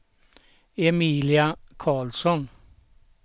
Emilia Karlsson